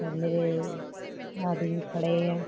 और मेरे आदमी खड़ें हैं।